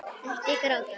Ekki gráta